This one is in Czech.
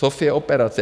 Sofie operace.